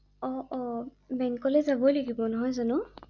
অ অ বেংকলৈ যাবই লাগিব৷নহয় জানো?